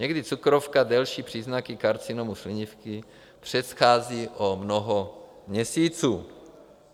Někdy cukrovka delší příznaky karcinomu slinivky předchází o mnoho měsíců.